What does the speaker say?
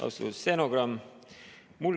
Austatud stenogramm!